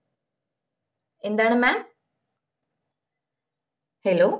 എന്താണ് mam hello